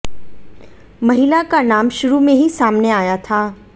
महिला का नाम शुरू में ही सामने आया था